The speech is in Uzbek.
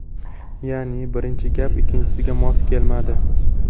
Ya’ni, birinchi gap ikkinchisiga mos kelmadi.